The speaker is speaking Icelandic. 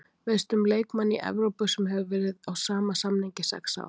Veistu um leikmann í Evrópu sem hefur verið á sama samning í sex ár?